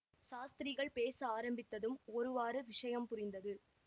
சாஸ்திரிகள் பேச ஆரம்பித்ததும் ஒருவாறு விஷயம் புரிந்தது